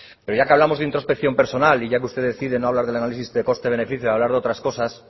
pero ya que hablamos de introspección personal y ya que usted decide no hablar del análisis de coste beneficio de hablar de otras cosas